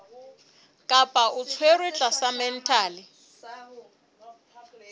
kapa o tshwerwe tlasa mental